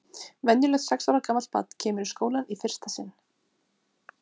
Venjulegt sex ára gamalt barn kemur í skólann í fyrsta sinn.